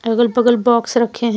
अगल बगल बॉक्स रखे हैं।